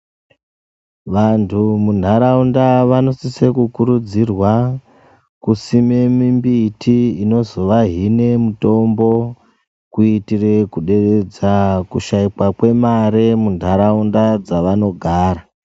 Vantu munharaunda vanosisa kukurudzirwa kusime mimbiti inozovahine mitombo kuitire kuderedza kushaikwa kwemare muntaraunda dzavanogara.